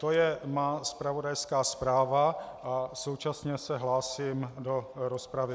To je má zpravodajská zpráva a současně se hlásím do rozpravy.